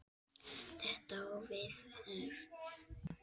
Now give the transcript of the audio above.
Þetta á við ef